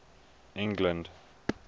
england